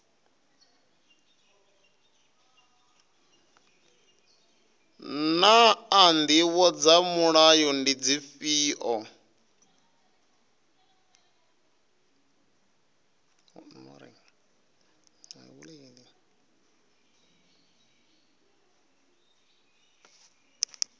naa ndivho dza mulayo ndi dzifhio